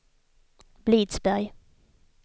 Blidsberg